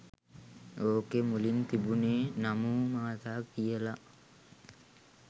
ඔකේ මුලින් තිබුනේ නමෝ මාතා කියල